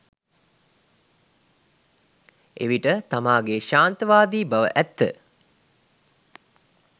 එවිට තමාගේ ක්ෂාන්තිවාදී බව ඇත්ත